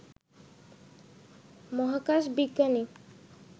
মহাকাশ বিজ্ঞানী